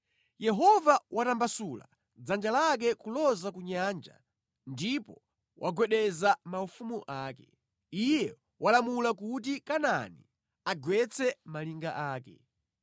Yehova watambasula dzanja lake kuloza ku nyanja ndipo wagwedeza maufumu ake. Iye walamula kuti Kanaani agwetse malinga ake.